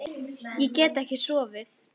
Ég get ekki sofið.